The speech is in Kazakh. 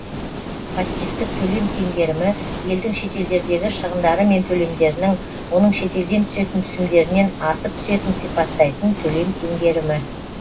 пассивтік төлем теңгерімі елдің шетелдердегі шығындары мен төлемдерінің оның шетелден түсетін түсімдерінен асып түсетін сипаттайтын төлем теңгерімі